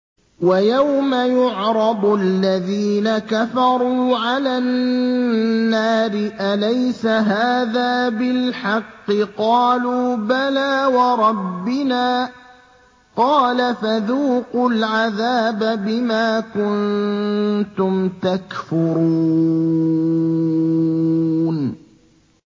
وَيَوْمَ يُعْرَضُ الَّذِينَ كَفَرُوا عَلَى النَّارِ أَلَيْسَ هَٰذَا بِالْحَقِّ ۖ قَالُوا بَلَىٰ وَرَبِّنَا ۚ قَالَ فَذُوقُوا الْعَذَابَ بِمَا كُنتُمْ تَكْفُرُونَ